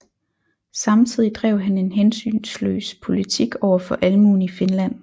Samtidigt drev han en hensynsløs politik over for almuen i Finland